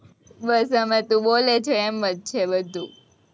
બસ અમે તું બોલે છે, એમ જ છે બધું,